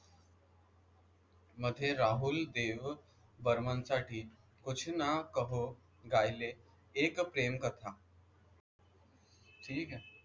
मध्ये राहुल देव बर्मनसाठी कुछ ना कहो गायले. एक प्रेम कथा. ठीक आहे.